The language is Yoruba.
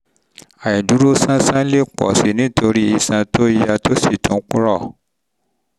àìdúróṣánṣán àìdúróṣánṣán lè pọ̀ sí i nítorí iṣan to ya tó sì tún rọ